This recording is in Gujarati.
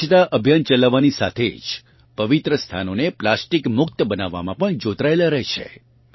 તેઓ સ્વચ્છતા અભિયાન ચલાવવાની સાથે જ પવિત્ર સ્થાનોને પ્લાસ્ટિક મુક્ત બનાવવામાં પણ જોતરાયેલા રહે છે